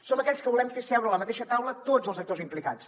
som aquells que volem fer seure a la mateixa taula tots els actors implicats